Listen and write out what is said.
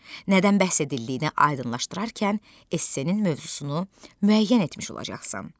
Nədən bəhs edildiyini aydınlaşdırarkən esse-nin mövzusunu müəyyən etmiş olacaqsan.